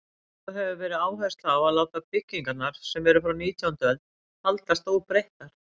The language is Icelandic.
Lögð hefur verið áhersla á að láta byggingarnar, sem eru frá nítjándu öld, haldast óbreyttar.